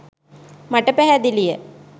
මට පැහැදිලිය.